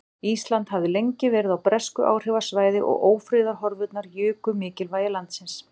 Ísland hafði lengi verið á bresku áhrifasvæði og ófriðarhorfurnar juku mikilvægi landsins.